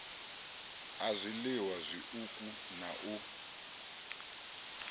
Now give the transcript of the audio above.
a zwiliwa zwiuku na u